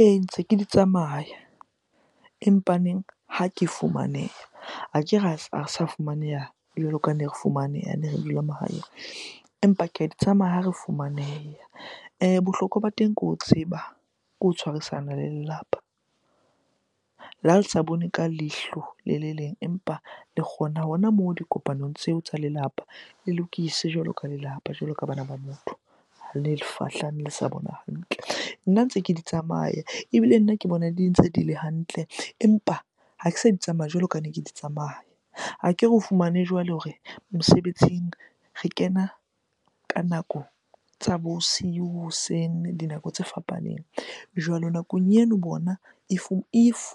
Ee, ntse ke di tsamaya. Empaneng ha ke fumaneha, akere ha re sa fumaneha jwalo ka ne re fumaneha hane re dula mahaeng empa ke a di tsamaya ha re fumaneha. Bohlokwa ba teng ke ho tseba, ke ho tshwarisana le lelapa. Le ha le sa bone ka leihlo le le leng empa le kgona hona moo dikopanong tseo tsa lelapa le lokise jwalo ka lelapa, jwalo ka bana ba motho, le lefahla le sa bona hantle. Nna ntse ke di tsamaya ebile nna ke bona di ntse di le hantle empa ha ke sa di tsamaya jwalo ka ne ke di tsamaya. Akere o fumane jwale hore mosebetsing re kena ka nako tsa bosiu, hoseng, dinako tse fapaneng. Jwalo nakong eno bona If